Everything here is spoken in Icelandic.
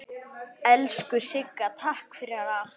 Elsku Sigga, takk fyrir allt.